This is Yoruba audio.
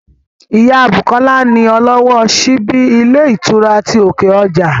Ìyá Bùkọ́lá ni ọlọ́wọ́ ọ síbí ilé ìtura ti òkè ọjà